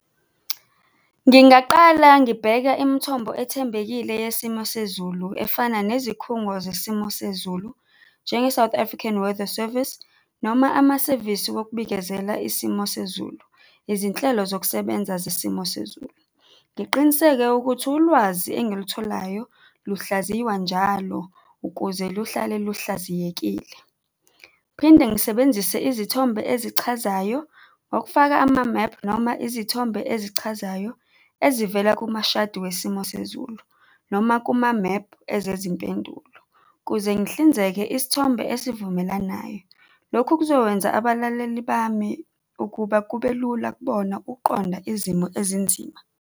Ngingaqala ngibheka imithombo ethembekile yesimo sezulu efana nezikhungo zesimo sezulu njenge-South African Weather Service, noma amasevisi wokubikezela isimo sezulu, izinhlelo zokusebenza zesimo sezulu. Ngiqiniseke ukuthi ulwazi engilitholayo luhlaziwa njalo ukuze luhlale luhlaziyekile. Phinde ngisebenzise izithombe ezichazayo ngokufaka amamephu noma izithombe ezichazayo ezivela kumashadi wesimo sezulu noma kumamephu ezimpendulo, kuze ngihlinzeke isithombe esivumelanayo. Lokhu kuzokwenza abalaleli bami ukuba kubelula kubona ukuqonda izimo ezinzima.